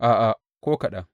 A’a, ko kaɗan!